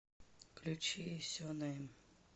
включи сенэйм